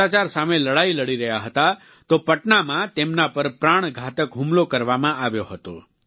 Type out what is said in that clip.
ભ્રષ્ટાચાર સામે લડાઈ લડી રહ્યા હતા તો પટનામાં તેમના પર પ્રાણઘાતક હુમલો કરવામાં આવ્યો હતો